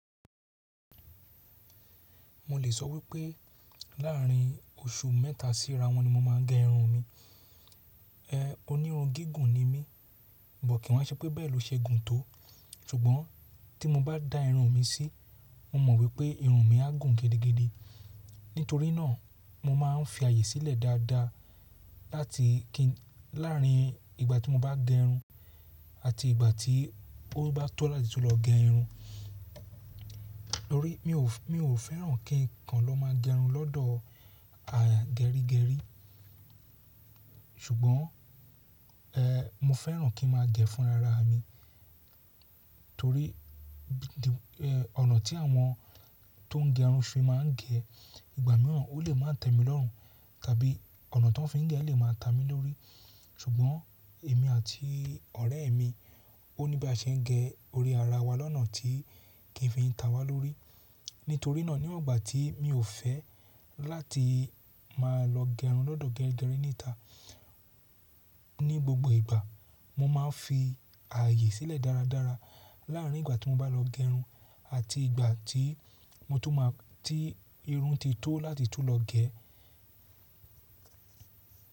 Mo lè sọ wípé, láàrin oṣù mẹ́ta sí ra won ní mo máa ń gé irun mi. Onírun gígùn ni mí, but kì wa n ṣé pé bẹ́ẹ̀ ló ṣe gùn tó. Ṣùgbọ́n tí mo bá da irun mi sí, mo mọ̀ wípé irun mi á gùn gidigidi. Nítorí náà mo máa ń fi ààyè sílẹ̀ dáadáa láàrin ìgbà tí mo bá gé irun àti ìgbà tí ó bá tó láti tún lọ gé irun. Torí mi ò fẹ́ràn kí ǹkan lọ má gé irun lọ́dọ̀ gerígerí. Ṣùgbọ́n, mo fẹ́ràn kí n má gé fún ara mi. Torí ọ̀nà tí àwọn tó ń gé irun fi máa ń gé ìgbà mìíràn, ó lè má tẹ́ mi lọ́run, tàbí ọ̀nà tó ń fi ń gé lè má ta mi lórí. Ṣùgbọ́n èmi àti ọ̀rẹ́ mi ó níbi a ṣe ń gé orí ara wa lọ́nà tí kì í fi ń ta wá lórí. Nítorí náà, níwọ̀n ìgbà tí mi ò fẹ́ láti má lọ gé irun lọ́dọ̀ geri gẹrí níta. Ní gbogbo ìgbà mo máa ń fi ààyè sílẹ̀ dáradára láàrin ìgbà tí mo bá lọ gé irun àti ìgbà tí irun ti tó láti tún lọ gé.